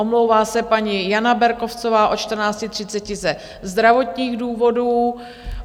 Omlouvá se paní Jana Berkovcová od 14.30 ze zdravotních důvodů.